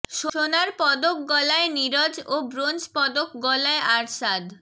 সোনার পদক গলায় নীরজ ও ব্রোঞ্জ পদক গলায় আর্শাদ